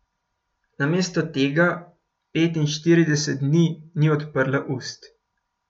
Namesto tega petinštirideset dni ni odprla ust.